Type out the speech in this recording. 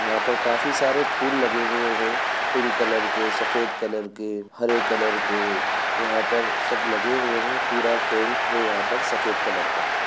यहाँ पर काफी सारे फूल लगे हुए है पिंक कलर के सफेद कलर के हरे कलर के यहाँ पर सब लगे हुए है पूरा टेंट है यहाँ पर सफेद कलर का।